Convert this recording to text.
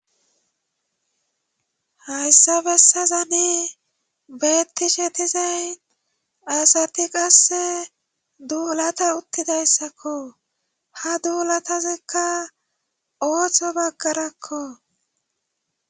hayssa bessazani bettishe tizayn asati qasse duulata uttidayssakko ha duulatazikka ooththo baggarakko